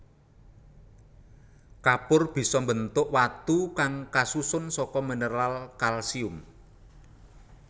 Kapur bisa mbentuk watu kang kasusun saka mineral kalsium